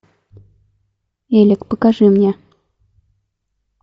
элька покажи мне